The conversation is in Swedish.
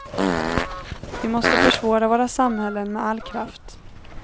Vi måste försvara våra samhällen med all kraft.